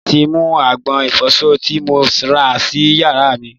Wọ́n ti mú agbọ̀n ìfọsọ tí mo rà sì yàrá mí.